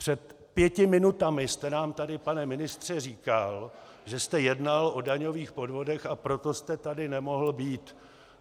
Před pěti minutami jste nám tady, pane ministře, říkal, že jste jednal o daňových podvodech, a proto jste tady nemohl být.